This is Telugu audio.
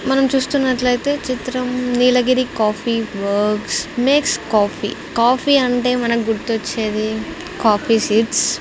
మనం చూస్తున్నట్లయితే చిత్రం Nilgiri coffee works makes coffee coffee అంటే మనకు గుర్తొచ్చేది కాఫీ సీడ్స్ .